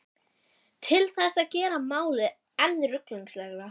Til þess að gera málið enn ruglingslegra.